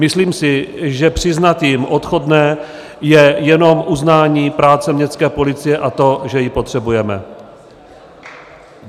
Myslím si, že přiznat jim odchodné je jenom uznání práce městské policie a toho, že ji potřebujeme.